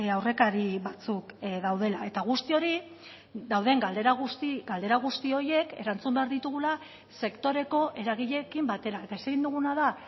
aurrekari batzuk daudela eta guzti hori dauden galdera guzti horiek erantzun behar ditugula sektoreko eragileekin batera eta ezin duguna da